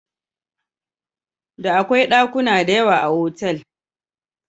Da akwai ɗakuna diyawa a hotel.